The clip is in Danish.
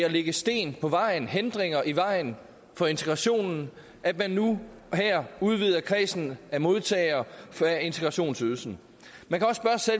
at lægge sten på vejen hindringer i vejen for integrationen at man nu her udvider kredsen af modtagere af integrationsydelsen